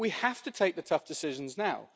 We have to take the tough decisions now.